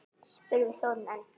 spurði Þórunn enn.